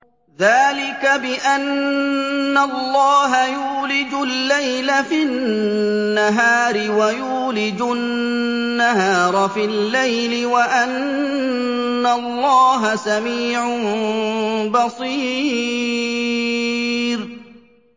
ذَٰلِكَ بِأَنَّ اللَّهَ يُولِجُ اللَّيْلَ فِي النَّهَارِ وَيُولِجُ النَّهَارَ فِي اللَّيْلِ وَأَنَّ اللَّهَ سَمِيعٌ بَصِيرٌ